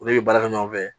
Olu bɛ baara kɛ ɲɔgɔn fɛ